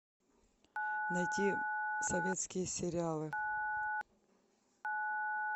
найти советские сериалы